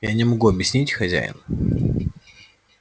я не могу объяснить хозяин